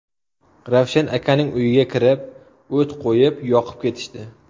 Ravshan akaning uyiga kirib, o‘t qo‘yib, yoqib ketishdi.